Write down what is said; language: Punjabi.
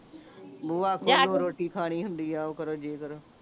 ਬੂਹਾ ਖੋਲੋ ਰੋਟੀ ਕਹਾਣੀ ਹੁੰਦੀ ਆ ਓਹ ਕਰੋ ਜੇ ਕਰੋ